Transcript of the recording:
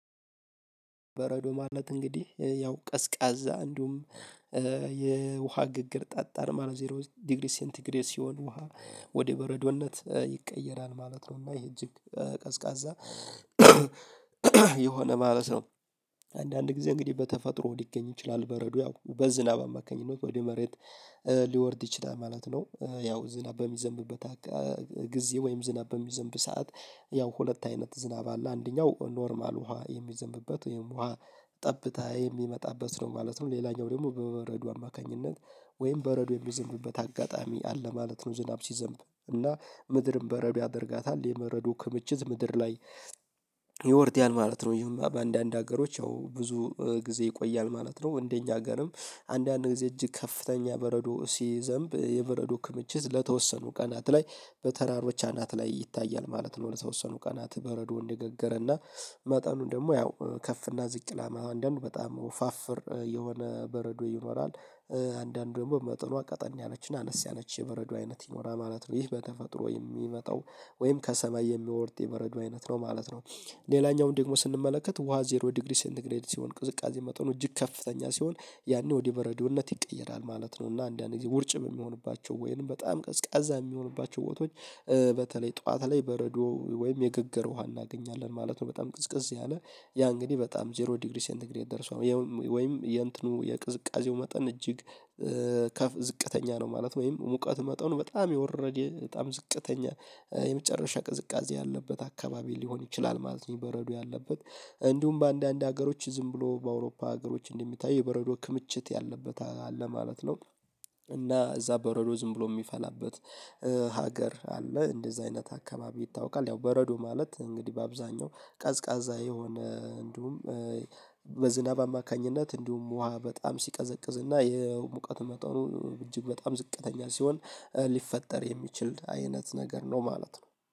በረዶ ማለት እንግዲህ ያው ቀዝቃዛ እንዲሁም ግግር ጠጣር ማለት ዜሮ ዲግሪ ሴንቲግሬድ ሲሆን ውሃ ወደ በረዶነት ይቀየራል ማለት ነው። እና የእጅግ ቀዝቃዛ የሆነ ማለት ነው። አንዳንድ ጊዜ እንግዲህ በተፈጥሮ ሊገኝ ይችላል በረዶ ያው በዝናብ አማካኝነት ወደ መሬት ሊወርድ ይችላል ማለት ነው። ያው ዝናብ በሚዘንብበት ጊዜ ወይም ዝናብ በሚዘንብ ሰዓት ያው ሁለት አይነት ዝናብ አለ አንደኛው ኖርማል ውሃ የሚዘንብበት ወይም ውሃ ጠብታ የሚመጣበት ነው ማለት ነው። ሌላኛው ደግሞ በበረዶ አማካኝነት ወይም በበረዶ የሚዘንብበት አጋጣሚ አለ ማለት ነው። ዝናብ ሲዘንብ እና ምድርም በረብ ያደርጋታል የመረዶ ክምችት ምድር ላይ ይወርዳል ማለት ነው። ይህማ በአንዳንድ ሀገሮች ያው ብዙ ጊዜ ይቆያል ማለት ነው። እንደኛ ሀገርም አንዳንድ ጊዜ እጅ ከፍተኛ በረዶ ሲዘንብ የበረዶ ክምችት ለተወሰኑ ቀናት ላይ በተራሮች አናት ላይ ይታያል ማለት ነው። ለተወሰኑ ቀናት በረዶ እንደገገረና መጠኑን ደግሞ ያው ከፍ እና ዝቅ ላማ አንዳንድ በጣም ወፋፍር የሆነ በረዶ ይኖራል። አንዳንድ ደግሞ መጠኗ ቀጠን ያለችና አነስ ያለች የበረዶ አይነት ይኖራል ማለት ነው። ይህ በተፈጥሮ የሚመጣው ወይም ከሰማይ የሚወርድ የበረዶ አይነት ነው ማለት ነው። ሌላኛው ደግሞ ስንመለከት ውሃ ዜሮ ዲግሪ ሴንት ግሬድ ሲሆን ቅዝቃዜ መጠኑ እጅግ ከፍተኛ ሲሆን ያኔ ወደ በረዶነት ይቀየራል ማለት ነው። እና አንዳንድ ጊዜ ውርጭም የሚሆንባቸው ወይንም በጣም ቀዝቃዛ የሚሆንባቸው ቦታዎች በተለይ ጠዋት ላይ በረዶ ወይም የግግር ውሃ እናገኛለን ማለት ነው። በጣም ቅዝቅዝ ያለ ያ እንግዲህ በጣም ዜሮ ዲግሪ ሴንት ግሬድ ደርሷል ወይም የእንትኑ የቅዝቃዜው መጠን እጅግ ዝቅተኛ ነው። ማለት ወይም ሙቀት መጠኑ በጣም የወረደ በጣም ዝቅተኛ የመጨረሻ ቅዝቃዜ ያለበት አካባቢ ሊሆን ይችላል። ማለት በረዶ ያለበት እንዲሁም በአንዳንድ ሀገሮች ዝም ብሎ በአውሮፓ ሀገሮች እንደሚታይ የበረዶ ክምችት ያለበት አለ ማለት ነው። እና እዛ በረዶ ዝም ብሎ ሚፈላበት ሀገር አለ እንደዛ አይነት አካባቢ ይታወቃል። ያው በረዶ ማለት እንግዲህ በአብዛኛው ቀዝቃዛ የሆነ እንዲሁም በዝናብ አማካኝነት እንዲሁም ውሃ በጣም ሲቀዘቅዝ እና ይሄ ሙቀት መጠኑ እጅግ በጣም ዝቅተኛ ሲሆን ሊፈጠር የሚችል አይነት ነገር ነው። ማለት ነው